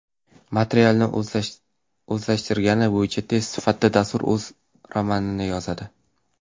Materialni o‘zlashtirgani bo‘yicha test sifatida, dastur o‘z romanini yozadi.